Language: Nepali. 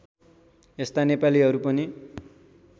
यस्ता नेपालीहरू पनि